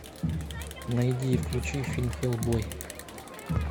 найди и включи фильм хеллбой